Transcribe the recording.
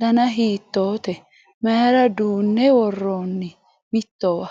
dana hiitoote mayra duunne worronni mittowa?